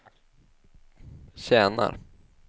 tjänar